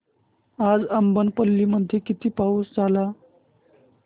आज अब्बनपल्ली मध्ये किती पाऊस झाला